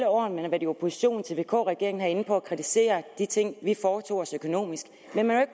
år man har været i opposition til vk regeringen herinde på at kritisere de ting vi foretog os økonomisk men man